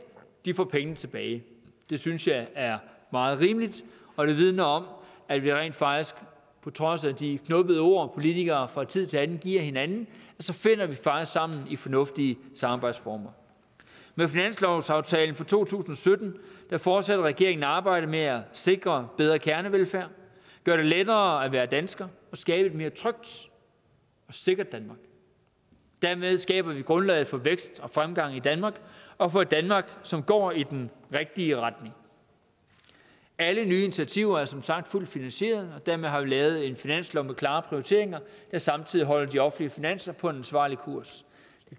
får pengene tilbage det synes jeg er meget rimeligt og det vidner om at vi rent faktisk på trods af de knubbede ord som politikere fra tid til anden giver hinanden finder sammen i fornuftige samarbejdsformer med finanslovsaftalen for to tusind og sytten fortsætter regeringen arbejdet med at sikre bedre kernevelfærd at gøre det lettere at være dansker at skabe et mere trygt og sikkert danmark dermed skaber vi grundlaget for vækst og fremgang i danmark og for et danmark som går i den rigtige retning alle nye initiativer er som sagt fuldt finansieret og dermed har vi lavet en finanslov med klare prioriteringer der samtidig holder de offentlige finanser på en ansvarlig kurs